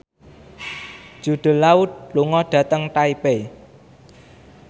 Jude Law lunga dhateng Taipei